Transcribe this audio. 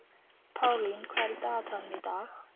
Pálín, hvað er í dagatalinu í dag?